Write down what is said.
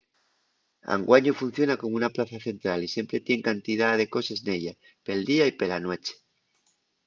anguaño funciona como una plaza central y siempre tien cantidá de coses nella pel día y pela nueche